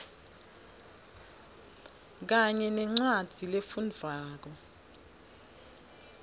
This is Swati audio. kanye nencwadzi lefundvwako